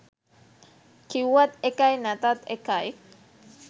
කිව්වත් එකයි නැතත් එකයි.